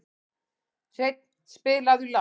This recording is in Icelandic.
Hreinn, spilaðu lag.